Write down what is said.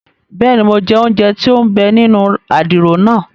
Bẹẹni, Mo jẹ ounjẹ tí o n bè nínú àdìrò naa